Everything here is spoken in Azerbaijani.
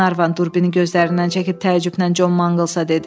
Glenarvan durbini gözlərindən çəkib təəccüblə Con Manglsa dedi.